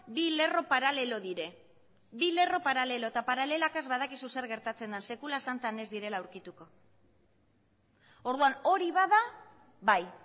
bi lerro paralelo dira eta paralelakaz ez badakizu zer gertatzen den sekula santan ez direla aurkituko orduan hori bada bai